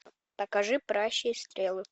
покажи пращи и стрелы